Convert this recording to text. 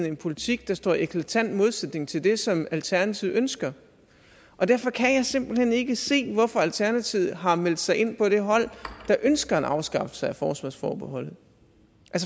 en politik der står i eklatant modsætning til det som alternativet ønsker og derfor kan jeg simpelt hen ikke se hvorfor alternativet har meldt sig ind på det hold der ønsker en afskaffelse af forsvarsforbeholdet